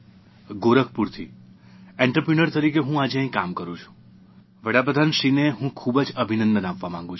ગોરખપુરથી entrepreneur તરીકે હું આજે અહીં કામ કરૂં છું વડાપ્રધાનશ્રીને હું ખૂબ જ અભિનંદન આપવા માંગુ છું